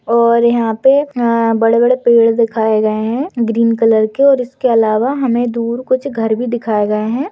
और यहाँ पे अ बड़े बड़े पेड़ दिखाए गए है ग्रीन कलर के और इसके अलावा हमें दूर कुछ घर भी दिखाए गए है।